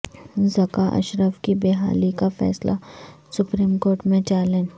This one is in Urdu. ذکا اشرف کی بحالی کا فیصلہ سپریم کورٹ میں چیلنج